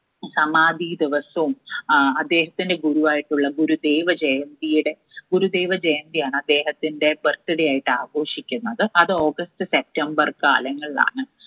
സമാധീ ദിവസം ആഹ് അദ്ദേഹത്തിന്റെ ഗുരു ആയിട്ടുള്ള ഗുരുദേവ ജയന്തിയുടെ ഗുരുദേവജയന്തിയാണ് അദ്ദേഹത്തിന്റെ birthday ആയിട്ട് ആഘോഷിക്കുന്നത് അത് august september കാലങ്ങൾലാണ്